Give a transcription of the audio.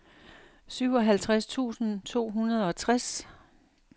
syvoghalvtreds tusind to hundrede og tres